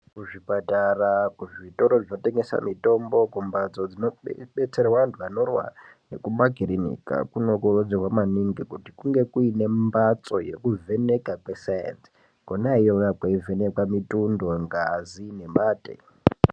Kuzvipatara, kuzvitoro zvinotengesa mitombo, kumphatso dzinobetserwa anthu anorwara, nekumakirinika, kunokurudzirwa maningi, kuti kunge kuine mphatso ye kuvheneka kwesainzi, kwona iyoyo kweivhenekwa mutundo, ngazi nemate.